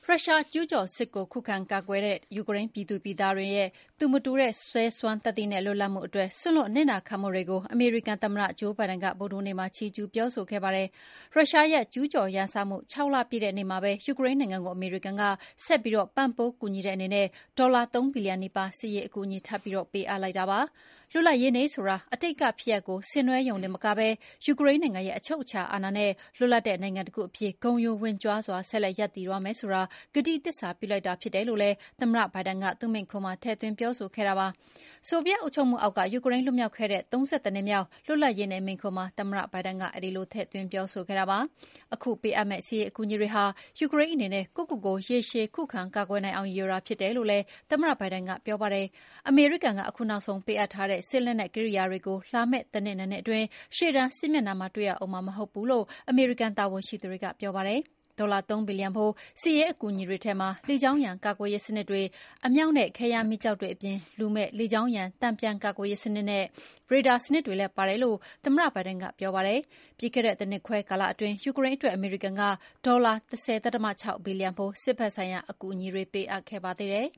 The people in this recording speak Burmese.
ရုရှားကျူးကျော်စစ်ကိုခုခံကာကွယ်နေတဲ့ ယူကရိန်းပြည်သူပြည်သားတွေရဲ့ သူမတူတဲ့ရဲစွမ်းသတ္တိနဲ့ လွတ်လပ်မှုအတွက် စွန့်လွတ်အနစ်နာခံမှုတွေကို အမေရိကန်သမ္မတ ဂျိုးဘိုင်ဒန်က ဗုဒ္ဓဟူးနေ့မှာ ချီးကျူးပြောဆိုခဲ့ပါတယ်။ ရုရှားရဲ့ကျူးကျော်ရန်စမှု ၆ လပြည့်တဲ့နေ့မှာပဲ ယူကရိန်းနိုင်ငံကို အမေရိကန်က ဆက်ပြီးပံ့ပိုး ကူညီတဲ့အနေနဲ့ ဒေါ်လာ ၃ ဘီလီယံနီးပါး စစ်ရေးအကူအညီ ထပ်ပြီးပေးအပ်လိုက်တာပါ။ လွတ်လပ်ရေးနေ့ဆိုတာ အတိတ်ကဖြစ်ရပ်ကို ဆင်နွှဲတာရုံတင်မကပဲ ယူကရိန်းနိုင်ငံရဲ့ အချုပ်အခြာအာဏာနဲ့ လွတ်လပ်တဲ့နိုင်ငံတခုအဖြစ် ဂုဏ်ယူဝင့်ကြွားစွာ ဆက်လက်ရပ်တည်သွားမယ်ဆိုတာ ကတိသစ္စာပြုလိုက်တာဖြစ်တယ်လို့လည်း သမ္မတဘိုင်းဒန်က သူ့မိန့်ခွန်းမှာထည့်သွင်းပြောဆိုခဲ့တာပါ။ ဆိုဗီယက်အုပ်ချုပ်မှုအောက်က ယူကရိန်း လွတ်မြောက်ခဲ့တဲ့ ၃၁ နှစ်မြောက် လွတ်လပ်ရေးနေ့မိန့်ခွန်းမှာ သမ္မတဘိုင်ဒန်က အဲဒီလို ပြောဆိုခဲ့တာဖြစ်ပါတယ်။ ခုပေးအပ်မယ့် စစ်ရေးအကူအညီတွေဟာ ယူကရိန်းအနေနဲ့ ကိုယ့်ကိုကိုယ် ရေရှည်ခံကာကွယ်နိုင်အောင်ရည်ရွယ်တာဖြစ်တယ်လို့လည်း သမ္မတဘိုင်ဒန်ကပြောပါတယ်။ အမေရိကန်ကခုနောက်ဆုံးပေးအပ်တဲ့ စစ်လက်နက်ကိရိယာတွေကို လာမယ့် တနှစ် ၂ နှစ်အတွင်းရှေ့တန်းစစ်မျက်နှာမှာ တွေ့ရဦးမှ ာမဟုတ်ဘူးလို့ အမေရိကန်တာဝန်ရှိသူတွေက ပြောပါတယ်။ ဒေါ်လာ ၃ ဘီလီယံဖိုး စစ်ရေးအကူအညီတွေထဲမှာ လေကြောင်းရန်ကာကွယ်ရေးစနစ်တွေ၊ အမြောက်နဲ့ ခဲယမ်းမီးကျောက်တွေအပြင် လူမဲ့လေကြောင်းရန် တန်ပြန်ကာကွယ်ရေးစနစ်နဲ့ ရေဒါစနစ်တွေလည်းပါတယ်လို့ သမ္မတဘိုင်ဒန်ကပြောပါတယ်။ ပြီးခဲ့တဲ့ တနှစ်ခွဲကာလအတွင်း ယူကရိန်းအတွက် အမေရိကန်က ဒေါ်လာ ၁၀.၆ ဘီလီယံဖိုး စစ်ဖက်ဆိုင်ရာအကူအညီတွေပေးအပ်ခဲ့ပါသေးတယ်